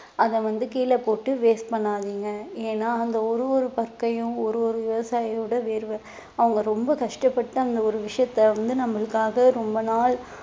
அதை வந்து கீழ போட்டு waste பண்ணாதீங்க ஏன்னா அந்த ஒரு ஒரு பருக்கையும் ஒரு ஒரு விவசாயியோட வேர்வை அவங்க ரொம்ப கஷ்டப்பட்டு அந்த ஒரு விஷயத்த வந்து நம்மளுக்காக ரொம்ப நாள்